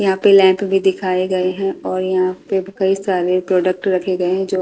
यहां पे लैंप भी दिखाए गए हैं और यहां पे कई सारे प्रोडक्ट रखे गए हैं जो --